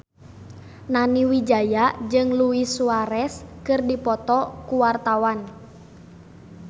Nani Wijaya jeung Luis Suarez keur dipoto ku wartawan